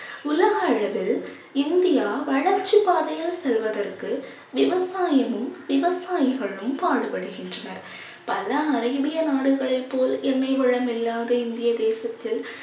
உலக அளவில் இந்தியா வளர்ச்சிப் பாதையில் செல்வதற்கு விவசாயமும் விவசாயிகளும் பாடுபடுகின்றனர் பல அரேபிய நாடுகளைப் போல் எண்ணெய் வளம் இல்லாத இந்திய தேசத்தில்